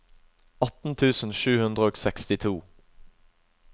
atten tusen sju hundre og sekstito